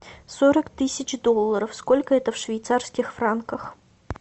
сорок тысяч долларов сколько это в швейцарских франках